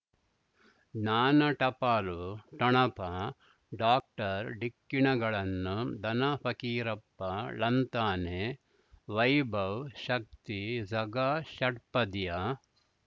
ಜ್ಞಾನ ಟಪಾಲು ಠೊಣಪ ಡಾಕ್ಟರ್ ಢಿಕ್ಕಿ ಣಗಳನು ಧನ ಫಕೀರಪ್ಪ ಳಂತಾನೆ ವೈಭವ್ ಶಕ್ತಿ ಝಗಾ ಷಟ್ಪದಿಯ